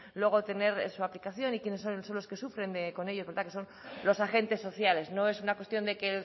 luego tener su aplicación y quiénes son los que sufren con ello que son los agentes sociales no es una cuestión de que